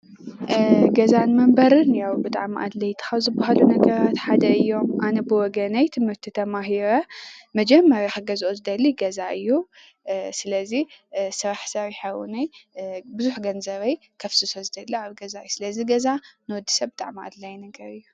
ገዛን መንበሪን ብጣዕሚ ኣድለይቲ ካብ ዝበሃሉ ነገራት ሓደ እዮም ።ኣነ ብወገነይ ትምህርቲ ተማሂረ መጀመርያ ክገዝኦ ዝደሊ ገዛ እዩ። ስለዚ ስራሕ ስርሐ ብዙሕ ገንዘበይ ከፍስሶ ዝደሊ እውን ኣብ ገዛ እዩ። ስለዚ ገዛ ንወዲሰብ ብጣዕሚ ኣድላይ ነገር እዩ።